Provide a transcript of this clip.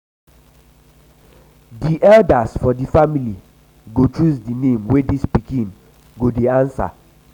di eldas for di family go choose um di name wey dis pikin um go dey um answer.